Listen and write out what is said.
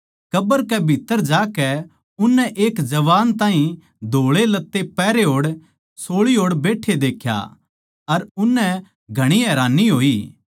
कब्र कै भीत्त्तर जाकै उननै एक जवान ताहीं धोळे लत्ते पहरे होड़ सोळी ओड़ बैट्ठे देख्या अर उननै घणी हैरान होई